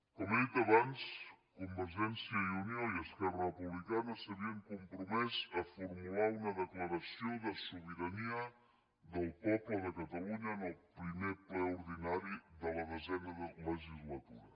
com he dit abans convergència i unió i esquerra republicana s’havien compromès a formular una declaració de sobirania del poble de catalunya en el primer ple ordinari de la desena legislatura